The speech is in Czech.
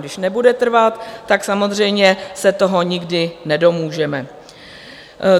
Když nebude trvat, tak samozřejmě se toho nikdy nedomůžeme.